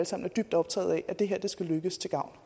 sammen dybt optaget af at det her skal lykkes til gavn